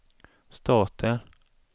staten